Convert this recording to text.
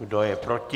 Kdo je proti?